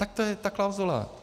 - Tak to je ta klauzule.